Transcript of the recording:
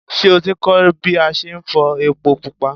Ṣé o ti kọ́ ń bí a ṣe ń fọ ẹpo pupa?